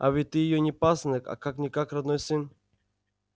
а ведь ты её не пасынок а как-никак родной сын